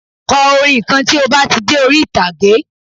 Kọrin kan tí o ba tí de ori itage